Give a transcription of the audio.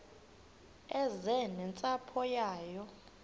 eze nentsapho yayo